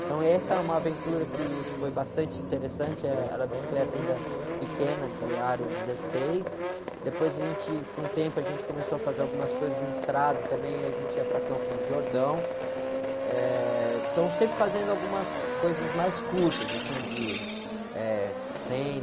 Então essa é uma aventura que foi bastante interessante, eh, era bicicleta ainda pequena, de aro dezesseis, depois a gente, com o tempo a gente começou a fazer algumas coisas em estrada também, aí a gente ia para Campos do Jordão, eh, então sempre fazendo algumas coisas mais curtas, assim de, eh, cem...